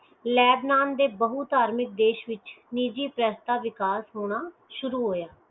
lab ਨਾਮ ਦੇ ਬਹੂ ਧਾਰਮਿਕ ਦੇਸ਼ ਵਿਚ ਨਿੱਜੀ press ਦਾ ਵਿਕਾਸ ਹੋਣਾ ਸ਼ੁਰੂ ਹੋਇਆ